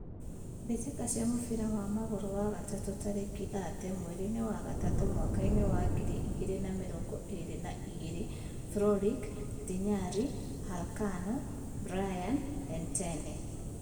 Mbitika cia mũbira wa magũrũ wa gatatu tariki thate mwerinĩ wa gatatũ mwakainĩ wa ngiri igĩrĩ na mĩrongo ĩri na igĩrĩ: Floric, Ntinyari, Halkano, Brian, Ettiene